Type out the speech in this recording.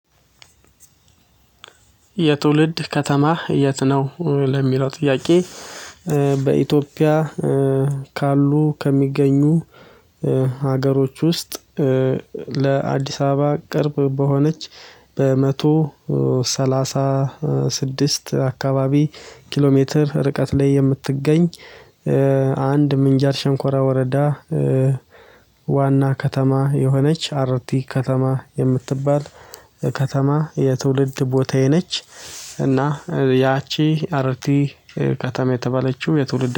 የትውልድ ከተማ የት ነው ለሚለው ጥያቄ? በኢትዮጵያ ካሉ ከሚገኙ ሀገሮች ውስጥ ለአዲስ አበባ ቅርብ በሆነች በመቶ ሰላሳ ስድስት አካባቢ ኪሎ ሜትር ርቀት ላይ የምትገኝ አንድ ምንጃር ሻንኮራ ወረዳ ዋና ከተማ የሆነች አርቲ ከተማ የምትባል ከተማ የትውልድ ቦታዬ ነች። እና ያቺ አርት ከተማ የተባለችው የትውልድ